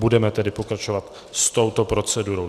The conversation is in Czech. Budeme tedy pokračovat s touto procedurou.